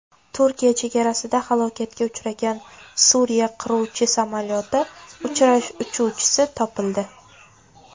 Turkiya chegarasida halokatga uchragan Suriya qiruvchi samolyoti uchuvchisi topildi.